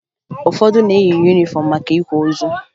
Ụfọdụ na-eyi yunifọmụ maka ịkwa ozu